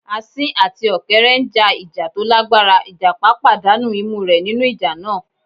Asín àti Ọ̀kẹ́rẹ́ n já ìjà tó lágbára, ìjàpá pàdánà imú rẹ̀ nínú ìjà náà